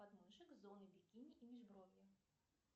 подмышек зоны бикины и межбровья